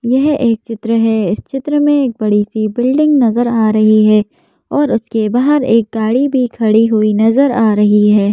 यह एक चित्र है इस चित्र में एक बड़ी सी बिल्डिंग नज़र आ रही है और उसके बाहर एक गाड़ी भी खड़ी हुई नज़र आ रही है।